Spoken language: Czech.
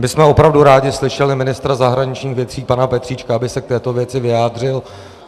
My bychom opravdu rádi slyšeli ministra zahraničních věcí pana Petříčka, aby se k této věci vyjádřil.